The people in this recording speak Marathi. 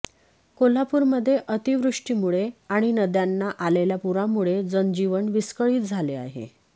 कोल्हापूरमध्ये अतिवृष्टीमुळे आणि नद्यांना आलेल्या पुरामुळे जनजीवन विस्कळीत झाले आहे